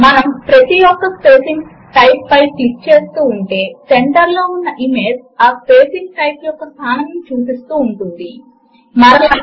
ఆ తరువాత సూత్రమును పూర్తి చేయడము కొరకు దానికి ఐఎస్ ఈక్వల్ టో 12 ను కలుపుదాము